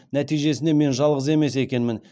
нәтижесінде мен жалғыз емес екенмін